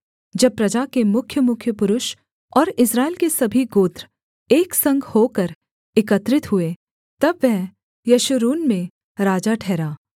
जब प्रजा के मुख्यमुख्य पुरुष और इस्राएल के सभी गोत्र एक संग होकर एकत्रित हुए तब वह यशूरून में राजा ठहरा